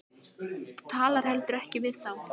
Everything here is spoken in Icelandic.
Þú talar heldur ekkert við þá.